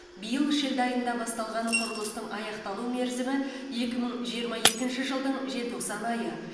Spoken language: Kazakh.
биыл шілде айында басталған құрылыстың аяқталу мерзімі екі мың жиырма екінші жылдың желтоқсан айы